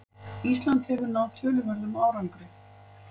Ísland hefur náð töluverðum árangri